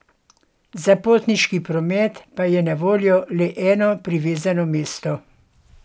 Za potniški promet pa je na voljo le eno privezno mesto.